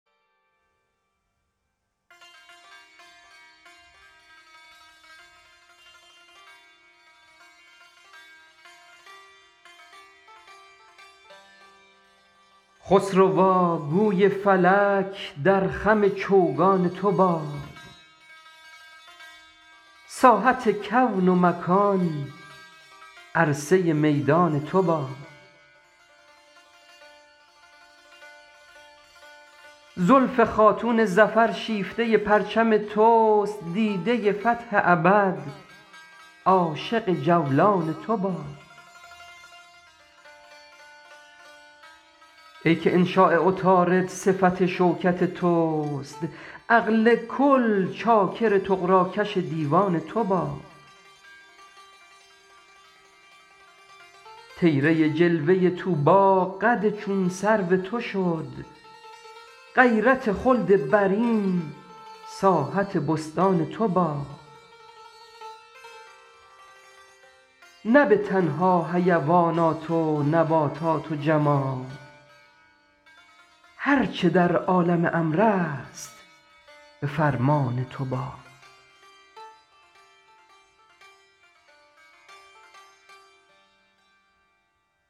خسروا گوی فلک در خم چوگان تو باد ساحت کون و مکان عرصه میدان تو باد زلف خاتون ظفر شیفته پرچم توست دیده فتح ابد عاشق جولان تو باد ای که انشاء عطارد صفت شوکت توست عقل کل چاکر طغراکش دیوان تو باد طیره جلوه طوبی قد چون سرو تو شد غیرت خلد برین ساحت بستان تو باد نه به تنها حیوانات و نباتات و جماد هر چه در عالم امر است به فرمان تو باد